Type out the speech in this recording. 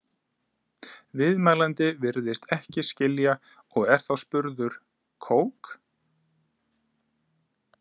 Viðmælandi virðist ekki skilja og er þá spurður Kók?